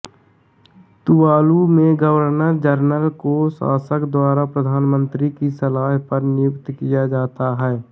Tuvalu में governor general को शासक द्वारा प्रधानमंत्री की सलाह पर नियुक्त किया जाता है